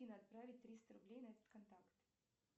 отправить триста рублей на этот контакт